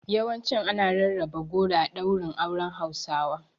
Yawancin ana rarraba goro a ɗaurin auren Hausawa.